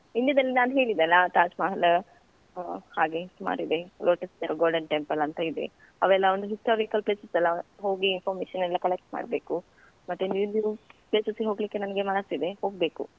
India ದಲ್ಲಿ ನಾನ್ ಹೇಳಿದೆ ಅಲ ತಾಜ್‌ಮಹಲ್‌ ಆ ಹಾಗೆ ಸುಮಾರಿದೆ Lotus golden temple ಅಂತ ಇದೆ, ಅವೆಲ್ಲ ಒಂದು historical places ಅಲ ಹೋಗಿ information ಎಲ್ಲ collect ಮಾಡ್ಬೇಕು. ಮತ್ತೆ new new places ಗೆ ಹೋಗ್ಲಿಕ್ಕೆ ನನ್ಗೆ ಮನಸಿದೆ ಹೋಗ್ಬೇಕು.